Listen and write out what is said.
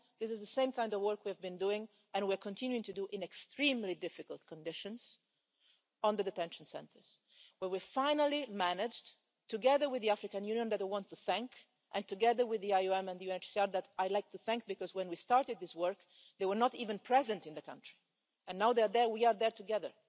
This is the same kind of work we have been doing and we are continuing to do in extremely difficult conditions on the detention centres, where we finally managed together with the African Union, which I want to thank, and together with the IOM and UNHCR, which I'd like to thank, because when we started this work, they were not even present in the country, and we are there together.